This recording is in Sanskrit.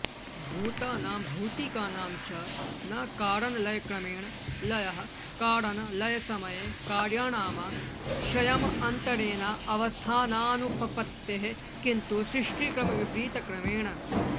भूतानां भौतिकानां च न कारणलयक्रमेण लयः कारणलयसमये कार्याणामाश्रयमन्तरेणावस्थानानुपपत्तेः किन्तु सृष्टिक्रमविपरीतक्रमेण